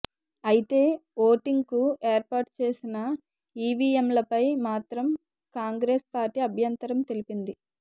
అయితే ఓటింగ్కు ఏర్పాటు చేసిన ఈవీఎంలపై మాత్రం కాంగ్రెస్ పార్టీ అభ్యంతరం తెలిపింది